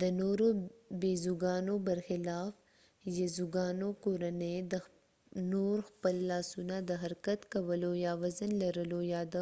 د نورو بيزوګانو برخلاف يزوګانو کورنۍ نور خپل لاسونه د حرکت کولو یا وزن لرلو یا د